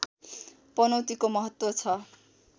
पनौतीको महत्त्व छ